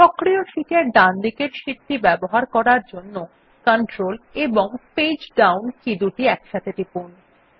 সক্রিয় শীট এর ডানদিকের শীটটি ব্যবহার করার জন্যControl এবং পেজ ডাউন কী দুটি একসাথে টিপুন